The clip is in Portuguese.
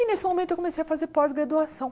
E nesse momento eu comecei a fazer pós-graduação.